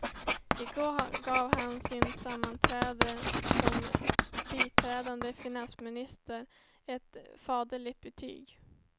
I går gav han sin efterträdare som biträdande finansminister ett faderligt betyg.